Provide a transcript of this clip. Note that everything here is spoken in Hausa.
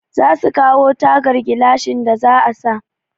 Za su kawo tagar gilashin da za a sa.